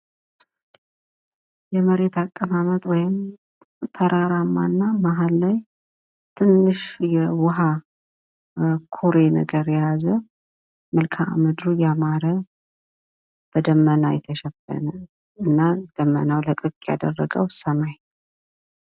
የመሬት አቀማመጥ ወይም ተራራማ እና መሃል ላይ ትንሽ የዉሃ ኩሬ ነገር የያዘ ፤ መልከአ ምድሩ ያማረ በደመና የተሸፈነ ፤ እና ደመናው ለቀቅ ያደረገዉ ሰማይ።